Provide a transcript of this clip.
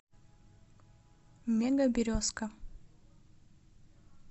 мега березка